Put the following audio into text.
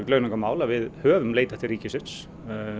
launungarmál að við höfum leitað til ríkisins